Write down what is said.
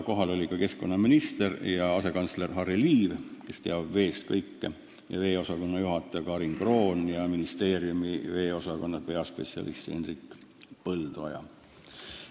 Kohal olid ka keskkonnaminister ja asekantsler Harry Liiv, kes teab veest kõike, veeosakonna juhataja Karin Kroon ja ministeeriumi veeosakonna peaspetsialist Hendrik Põldoja.